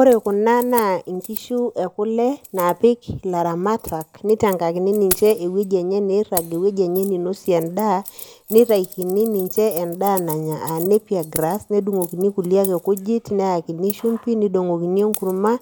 Ore kuna naa nkishu ekule naapik ilaramatak nitakini ninche ewueji nairrag nitakini ninche ewueji enye ninosie endaa nitaikini ninche endaa nanya aa nappier grass nedung'okini kulie ake kujit neyakini shumbi nidong'okini enkurrma